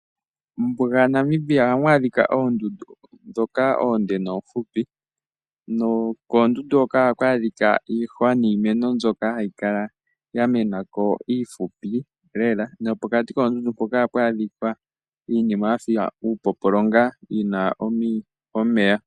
Mombuga yaNamibia oha mu adhika oondundu ndhoka oonde noomfupi . Koondundu hoka ohaku adhika iihwa niimeno mbyoka yamenako iifupi. Pokati koondundu ohapu adhika iinima yafa iipopolonga moka muna omeya.